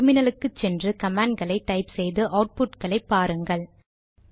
டெர்மினலுக்கு சென்று கமாண்ட் களை டைப் செய்து அவுட்புட் களை பாருங்கள்